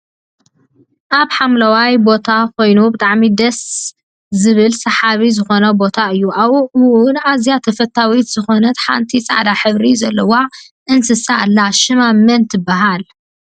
ኣብ ሓምለዋይ ቦታኮይኑ ብጣዕሚ ደስ ብል ስሓቢ ዝኮነ ቦታ እዩ። ኣብኡ እውን ኣዝያ ተፈታዊት ዝኮነት ሓንቲ ፃዕዳ ሕብሪ ዘለዋ እንስሳ ኣላ። ሽማ መን ትብሃል?